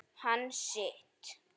Hann sitt.